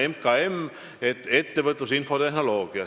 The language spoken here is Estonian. Esiteks, MKM, ettevõtlus ja infotehnoloogia.